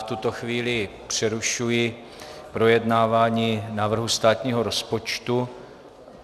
V tuto chvíli přerušuji projednávání návrhu státního rozpočtu.